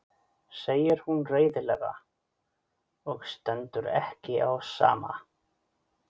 segir hún reiðilega og stendur ekki á sama.